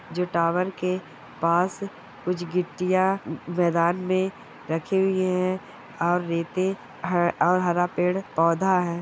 जो टावर के पास कुछ गिट्टियां मैदान में रखी हुई हैऔर रेते और हरा पेड़ पौधा है।